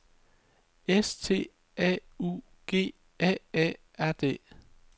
S T A U G A A R D